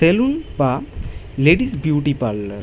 তেলুন বা ladies beauty parlour.